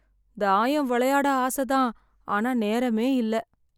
தாயம் விளையாட ஆசைதான், ஆனா நேரமே இல்லை.